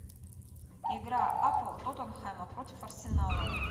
игра апл тоттенхэма против арсенала